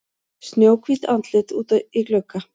Snjóhvítt andlit úti í glugga.